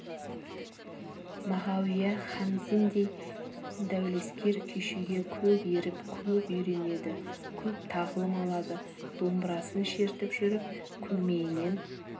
мағауия хамзиндей дәулескер күйшіге көп еріп көп үйренеді көп тағылым алады домбырасын шертіп жүріп көмейінен